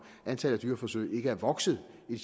antallet af dyreforsøg ikke er vokset i